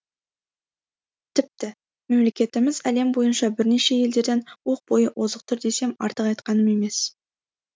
тіпті мемлекетіміз әлем бойынша бірнеше елдерден оқ бойы озық тұр десем артық айтқаным емес